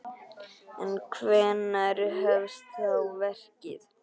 En hvenær hefst þá verkið?